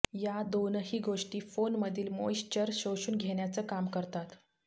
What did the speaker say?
या दोनही गोष्टी फोनमधील मॉईश्चर शोषून घेण्याचं काम करतात